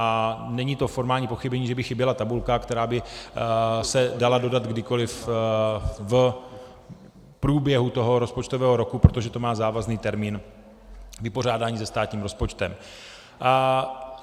A není to formální pochybení, že by chyběla tabulka, která by se dala dodat kdykoli v průběhu toho rozpočtového roku, protože to má závazný termín vypořádání se státním rozpočtem.